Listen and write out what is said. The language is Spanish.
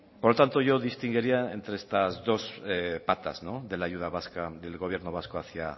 por lo tanto yo distinguiría entre estas dos patas de la ayuda vasca del gobierno vasco hacia